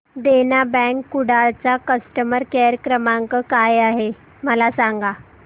देना bank Kudal चा customer care क्रमांक काय आहे मला सांगा